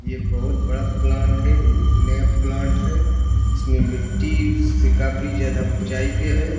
यह बहुत बड़ा प्लांट है। नया प्लांट है। इसमें मिट्टी से काफी ज्यादा ऊँचाई पे है।